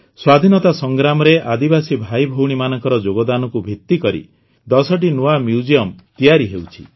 ସ୍ୱାଧୀନତା ସଂଗ୍ରାମରେ ଆଦିବାସୀ ଭାଇଭଉଣୀମାନଙ୍କର ଯୋଗଦାନକୁ ଭିତ୍ତିକରି ୧୦ଟି ନୂଆ ମ୍ୟୁଜିୟମ ତିଆରି ହେଉଛି